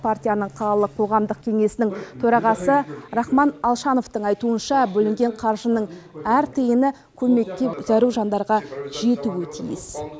партияның қалалық қоғамдық кеңесінің төрағасы рахман алшановтың айтуынша бөлінген қаржының әр тиыны көмекке зәру жандарға жетуі тиіс